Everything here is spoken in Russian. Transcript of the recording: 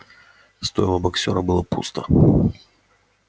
стойло боксёра было пусто